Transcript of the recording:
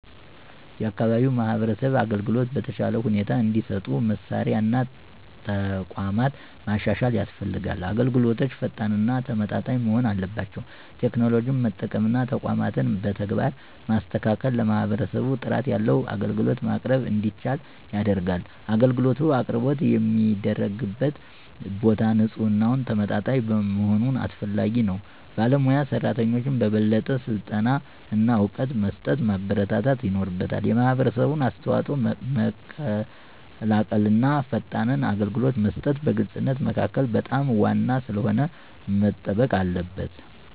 የአካባቢ የማህበረሰብ አገልግሎቶች በተሻለ ሁኔታ እንዲሰጡ መሳሪያ እና ተቋማት ማሻሻል ያስፈልጋል። አገልግሎቶች ፈጣን እና ተመጣጣኝ መሆን አለባቸው። ቴክኖሎጂን መጠቀም እና ተቋማትን በተግባር ማስተካከል ለማህበረሰቡ ጥራት ያለው አገልግሎት ማቅረብ እንዲቻል ያደርጋል። አገልግሎት አቅርቦት የሚደረግበት ቦታ ንፁህና ተመጣጣኝ መሆኑ አስፈላጊ ነው። ባለሞያ ሰራተኞችን በበለጠ ስልጠና እና እውቀት በመስጠት ማበረታታት ይኖርበታል። የማህበረሰብ አስተዋጽኦ መቀላቀል እና ፈጣን አገልግሎት መስጠት በግልፅነት መካከል በጣም ዋና ስለሆነ መጠበቅ አለበት።